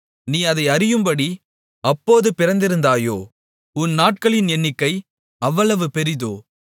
நீ அதை அறியும்படி அப்போது பிறந்திருந்தாயோ உன் நாட்களின் எண்ணிக்கை அவ்வளவு பெரிதோ